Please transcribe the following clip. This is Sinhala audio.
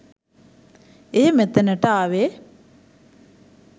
එය මෙතනට ආවේ